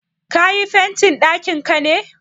Ka yi fentin ɗakinka ne?